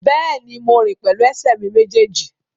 Bẹ́ẹ̀ni, mo rìn pẹ̀lú ẹsẹ̀ mi méjèèjì